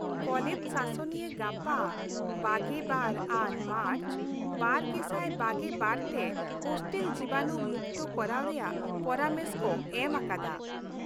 College ᱥᱟᱥᱚᱱᱤᱭᱟᱹ ᱜᱟᱯᱟ ᱒᱒ ᱟᱱ ᱢᱟᱨᱪ ᱒᱐᱒᱒ ᱛᱮ ᱦᱳᱥᱴᱮᱞ ᱡᱤᱵᱟᱱᱩ ᱢᱩᱠᱛᱚ ᱠᱚᱨᱟᱣ ᱨᱮᱭᱟᱜ ᱯᱚᱨᱟᱢᱮᱥ ᱠᱚ ᱮᱢ ᱟᱠᱟᱫᱟ ᱾